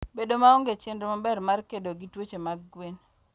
Bedo maonge chenro maber mar kedo gi tuoche mag gwen.